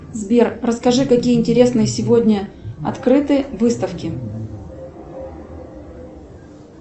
сбер расскажи какие интересные сегодня открыты выставки